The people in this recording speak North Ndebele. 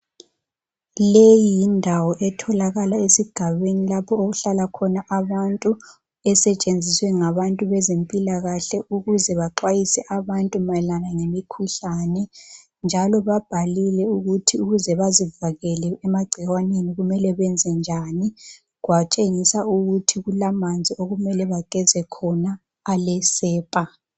Leyi yindawo etholakala esigabeni lapho okuhlala khona abantu, esetshenziswe ngabantu bezempilakahle ukuze baxwayise abantu mayelana lemikhuhlane. Njalo babhalile ukuthi ukuze bazivikele emagcikwaneni kumele benze njani. Kwatshengiswa ukuthi kulamanzi okumele bageze khona alesepa.